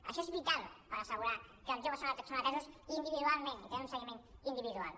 això és vital per assegurar que els joves són atesos individualment i tenen un seguiment individual